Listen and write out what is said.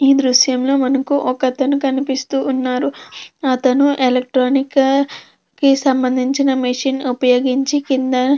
ఈ దృశ్యంలో మనకు ఒక అతను కనిపిస్తూ ఉన్నాడు. అతను ఎలక్ట్రానిక్ కి సంబంధించిన మెషిన్ ఉపయోగించి కింద --